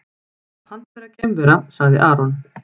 Pant vera geimvera, sagði Aron.